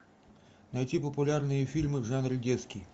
найти популярные фильмы в жанре детский